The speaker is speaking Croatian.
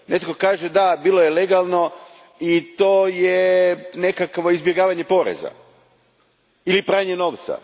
Netko kaže da, bilo je legalno i to je nekakvo izbjegavanje poreza ili pranje novca.